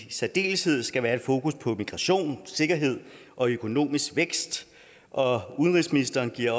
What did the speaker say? i særdeleshed skal være et fokus på migration sikkerhed og økonomisk vækst og udenrigsministeren giver